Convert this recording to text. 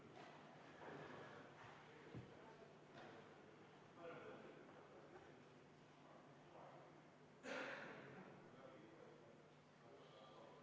Panen hääletusele 33. muudatusettepaneku.